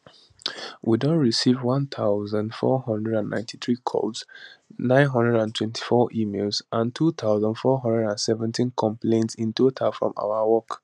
we don receive 1493 calls 924 emails and 2417 complaints in total from our work